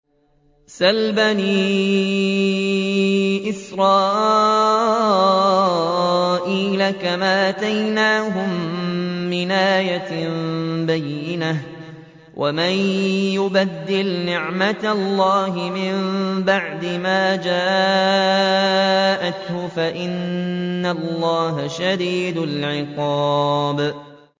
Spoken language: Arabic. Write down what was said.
سَلْ بَنِي إِسْرَائِيلَ كَمْ آتَيْنَاهُم مِّنْ آيَةٍ بَيِّنَةٍ ۗ وَمَن يُبَدِّلْ نِعْمَةَ اللَّهِ مِن بَعْدِ مَا جَاءَتْهُ فَإِنَّ اللَّهَ شَدِيدُ الْعِقَابِ